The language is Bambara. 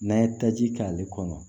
N'an ye taji k'ale kɔnɔ